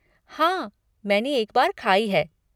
हाँ, मैंने एक बार खाई है।